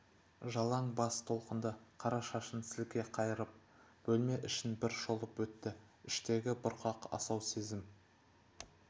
жалаң бас толқынды қара шашын сілке қайырып бөлме ішін бір шолып өтті іштегі бұрқақ асау сезім